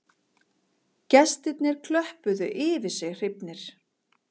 Gestirnir klöppuðu yfir sig hrifnir